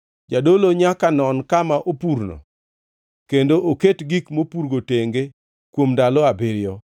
Jadolo nyaka non kama opurno kendo oket gik mopurgo tenge kuom ndalo abiriyo.